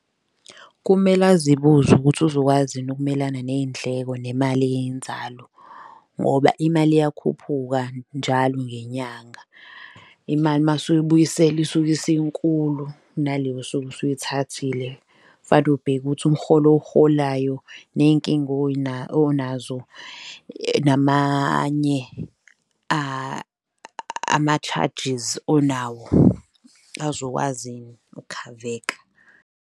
Kumele azibuze ukuthi uzokwazi yini ukumelana ney'ndleko nemali eyinzalo ngoba imali iyakhuphuka njalo ngenyanga. Imali mawusuyibuyiselwa isuke isinkulu kunaleyo osuke osuyithathile. Fane ubheke ukuthi umrholo owurholayo ney'nkinga onazo, namanye ama-charges onawo azokwazi yini ukukhaveka.